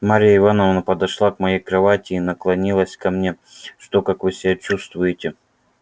марья ивановна подошла к моей кровати и наклонилась ко мне что как вы себя чувствуете